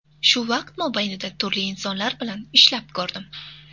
Shu vaqt mobaynida turli insonlar bilan ishlab ko‘rdim.